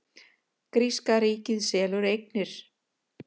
Gríska ríkið selur eignir